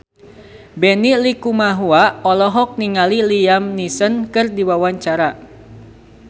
Benny Likumahua olohok ningali Liam Neeson keur diwawancara